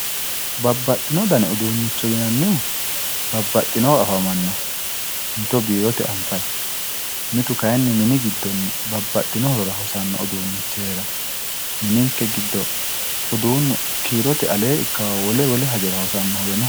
babbaxino dani uduunnicho yinannihu babbaxinowa afamanno mito biirote anfayi mitu kayni mini giddonni babbaxino horora hosanno udunnichi heeranno mininke giddo uduunnu kiirote aleenni ikkannohu wolwe wole hajora hosannohuwe no